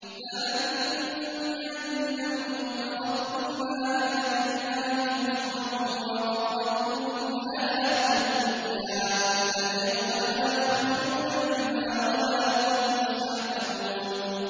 ذَٰلِكُم بِأَنَّكُمُ اتَّخَذْتُمْ آيَاتِ اللَّهِ هُزُوًا وَغَرَّتْكُمُ الْحَيَاةُ الدُّنْيَا ۚ فَالْيَوْمَ لَا يُخْرَجُونَ مِنْهَا وَلَا هُمْ يُسْتَعْتَبُونَ